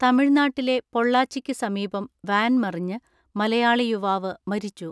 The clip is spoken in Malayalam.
തമിഴ്നാട്ടിലെ പൊള്ളാച്ചിക്കു സമീപം വാൻ മറിഞ്ഞ് മലയാളി യുവാവ് മരിച്ചു.